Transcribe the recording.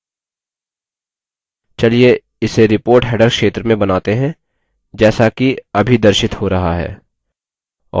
चलिए इसे report header क्षेत्र में बनाते हैं जैसा कि अभी दर्शित हो रहा है